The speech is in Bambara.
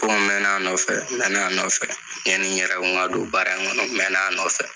BɔN n mɛna nɔfɛ n mɛna nɔfɛ ɲani n yɛrɛ kun ka don baara in kɔnɔ n mɛna nɔfɛ